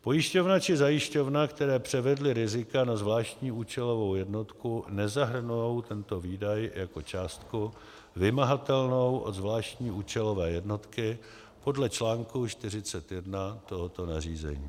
pojišťovna či zajišťovna, které převedly rizika na zvláštní účelovou jednotku, nezahrnou tento výdaj jako částku vymahatelnou od zvláštní účelové jednotky podle čl. 41 tohoto nařízení.